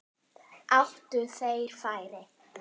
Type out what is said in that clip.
Áttu þeir færi?